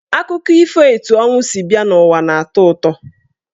Akụkọ ifo etu ọnwụ si bịa n'ụwa na-atọ ụtọ.